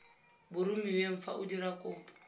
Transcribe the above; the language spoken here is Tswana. boromiweng fa o dira kopo